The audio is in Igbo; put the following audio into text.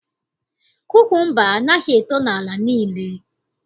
Kukumba anaghị eto n'ala niile